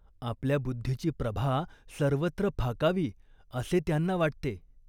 आपल्या बुद्धीची प्रभा सर्वत्र फाकावी असे त्यांना वाटते.